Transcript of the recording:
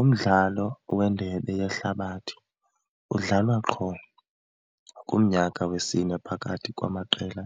Umdlalo wendebe yehlabathi udlalwa qho kumnyaka wesine phakathi kwamaqela